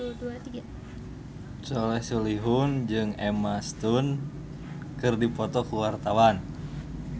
Soleh Solihun jeung Emma Stone keur dipoto ku wartawan